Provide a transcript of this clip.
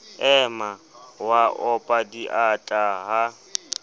ema wa opa diatla ha